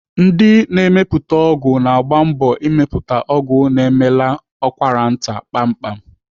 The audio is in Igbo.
Ndị na-emepụta ọgwụ na-agba mbọ ịmepụta ọgwụ na-emela ụkwaranta kpamkpam.